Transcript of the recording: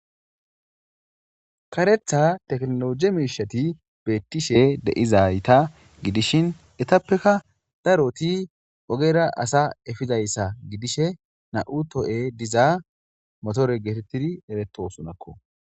karetha teknologie meishati beettishe deizayta gidishin etappeka daroti ogera asa efizayssa gidishe na7u to7e diza motore geetettidi eretosonakko